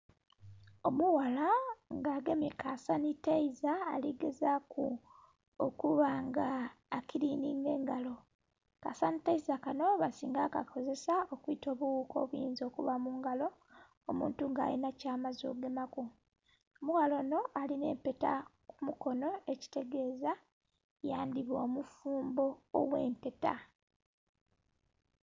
Omughala nga agemye ka sanitizer ali gezaaku okuba nga akilininga engalo. Ka sanitizer kanho basinga kukakozesa okwita obughuka obuyinza okuba mungalo omuntu nga alinha kya maze okugemaku. Omughala onho alinha empeta ku mukono ekitegeeza yandhiba omufumbo ogh'empeta.